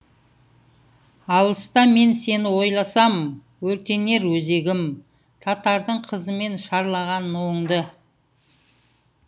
алыста мен сені ойласам өртенер өзегім татардың қызымен шарлаған нуыңды